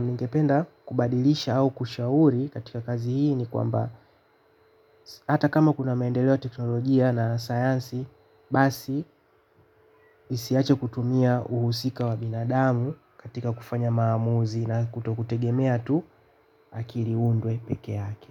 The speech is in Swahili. ningependa kubadilisha au kushauri katika kazi hii ni kwamba hata kama kuna maendeleo ya teknolojia na sayansi basi isiache kutumia uhusika wa binadamu katika kufanya maamuzi na kuto kutegemea tu akili undwe pekee yake.